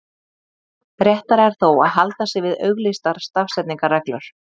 réttara er þó að halda sig við auglýstar stafsetningarreglur